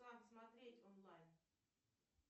смотреть онлайн